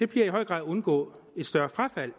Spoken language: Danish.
bliver i høj grad at undgå et større frafald